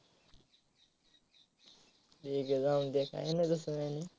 ठीक आहे, जाऊन दे. कहेनाही तासकाहीनै